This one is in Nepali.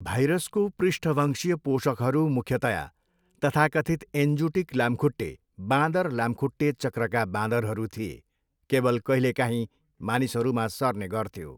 भाइरसको पृष्ठवंशीय पोषकहरू मुख्यतया तथाकथित एन्जुटिक लामखुट्टे, बाँदर लामखुट्टे चक्रका बाँदरहरू थिए, केवल कहिलेकाहींँ मानिसहरूमा सर्ने गर्थ्यो।